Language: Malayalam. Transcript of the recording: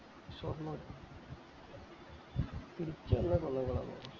ഷൊർണ്ണൂർ തിരിച്ച് അയിലേകൂടെ അല്ലെ വന്നേ